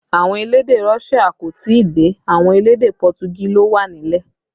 Àwọn elédè Russia kò tí ì dé, àwọn elédè Pọtugí ló wà nílẹ̀